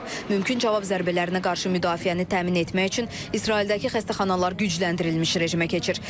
Mümkün cavab zərbələrinə qarşı müdafiəni təmin etmək üçün İsraildəki xəstəxanalar gücləndirilmiş rejimə keçir.